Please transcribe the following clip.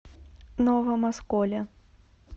новом осколе